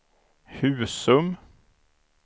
Husum